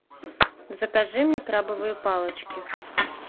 закажи мне крабовые палочки